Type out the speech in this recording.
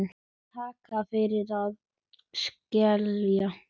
Takk fyrir að skilja.